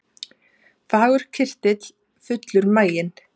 Fagur kyrtill, fullur maginn